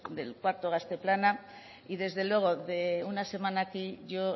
del cuarto gazte plana y desde luego de una semana a aquí yo